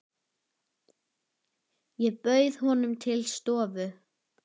Ég bauð honum til stofu.